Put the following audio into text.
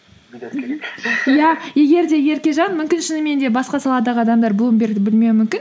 иә егер де еркежан мүмкін шынымен де басқа саладағы адамдар блумбергті білмеуі мүмкін